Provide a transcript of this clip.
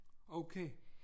Okay